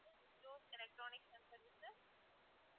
elecronic center